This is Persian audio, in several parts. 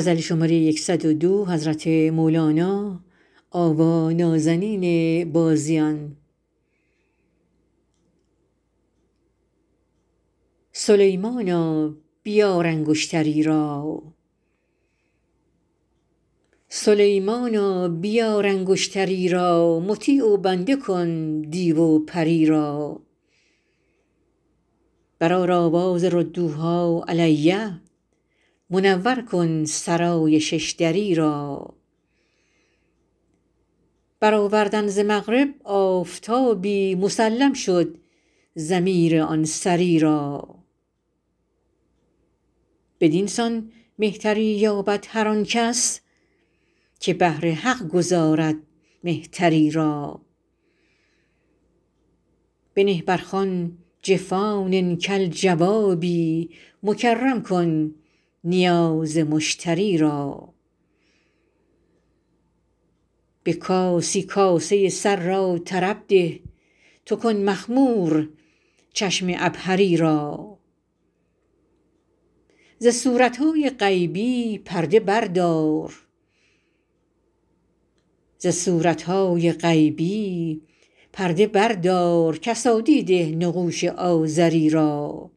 سلیمانا بیار انگشتری را مطیع و بنده کن دیو و پری را برآر آواز ردوها علی منور کن سرای شش دری را برآوردن ز مغرب آفتابی مسلم شد ضمیر آن سری را بدین سان مهتری یابد هر آن کس که بهر حق گذارد مهتری را بنه بر خوان جفان کالجوابی مکرم کن نیاز مشتری را به کاسی کاسه سر را طرب ده تو کن مخمور چشم عبهری را ز صورت های غیبی پرده بردار کسادی ده نقوش آزری را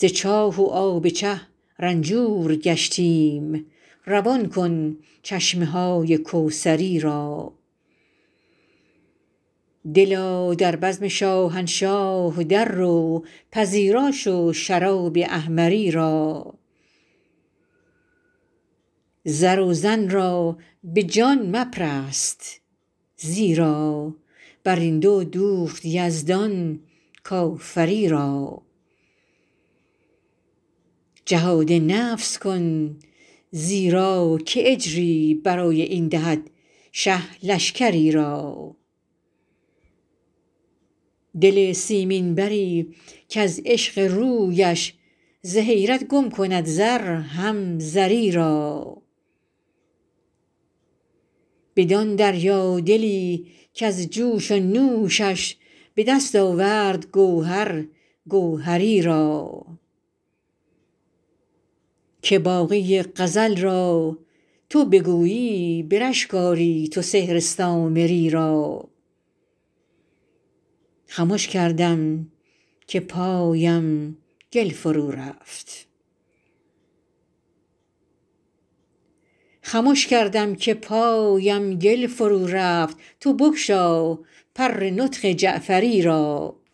ز چاه و آب چه رنجور گشتیم روان کن چشمه های کوثری را دلا در بزم شاهنشاه دررو پذیرا شو شراب احمری را زر و زن را به جان مپرست زیرا بر این دو دوخت یزدان کافری را جهاد نفس کن زیرا که اجری برای این دهد شه لشکری را دل سیمین بری کز عشق رویش ز حیرت گم کند زر هم زری را بدان دریادلی کز جوش و نوشش به دست آورد گوهر گوهری را که باقی غزل را تو بگویی به رشک آری تو سحر سامری را خمش کردم که پایم گل فرورفت تو بگشا پر نطق جعفری را